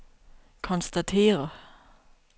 konstatere